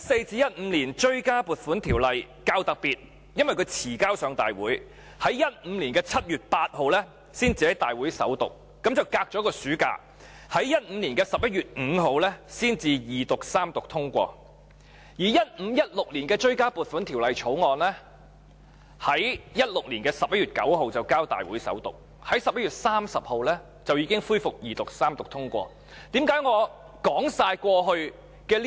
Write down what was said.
《追加撥款條例草案》較特別，因較遲提交大會，故在2015年7月8日才在大會首讀，相隔一個暑假，在2015年11月5日才二讀及三讀通過；而《追加撥款條例草案》在2016年11月9日便交大會首讀，在11月30日已恢復二讀及三讀通過。